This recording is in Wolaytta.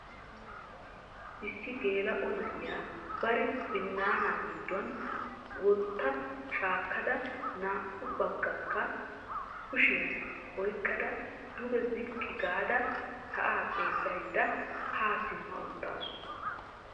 Issi gela''o na'iyaa bari binaana gidduwaan wotta shaakkada naa''u baggaakka kushiyaan oyqqada duge ziqqi gaada sa'a xeellaydda ha simma uttaasu.